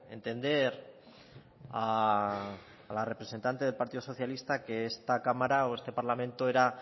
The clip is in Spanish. entender a la representante del partido socialista que esta cámara o este parlamento era